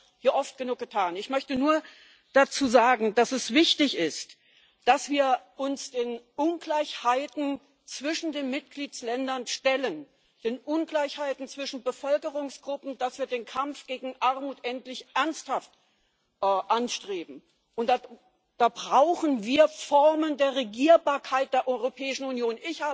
Das haben wir hier oft genug getan. Ich möchte nur dazu sagen, dass es wichtig ist, dass wir uns den Ungleichheiten zwischen den Mitgliedsländern und den Ungleichheiten zwischen Bevölkerungsgruppen stellen, dass wir den Kampf gegen Armut endlich ernsthaft anstreben, und da brauchen wir Formen der Regierbarkeit der Europäischen Union.